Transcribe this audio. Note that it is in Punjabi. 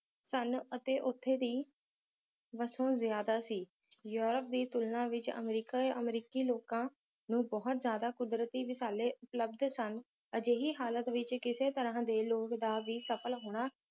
ਸਨ ਅਤੇ ਉੱਥੇ ਦੀ ਵਸੋਂ ਜ਼ਿਆਦਾ ਸੀ ਯੂਰੋਪ ਦੀ ਤੁਲਨਾ ਵਿੱਚ ਅਮਰੀਕਾ ਅਮਰੀਕੀ ਲੋਕਾਂ ਨੂੰ ਬਹੁਤ ਜ਼ਿਆਦਾ ਕੁਦਰਤੀ ਵਿਸਾਲੇ ਉਪਲਬਧ ਸਨ ਅਜਿਹੀ ਹਾਲਤ ਵਿੱਚ ਕਿਸੇ ਤਰ੍ਹਾਂ ਦੇ ਲੋਕ ਦਾ ਵੀ ਸਫਲ ਹੋਣਾ